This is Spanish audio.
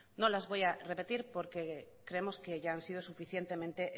no las voy a repetir porque creemos que ya han sido suficientemente